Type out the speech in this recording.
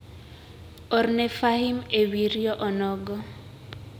orne Fahim ewi rio onogo.